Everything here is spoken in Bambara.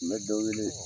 N bɛ dɔ wele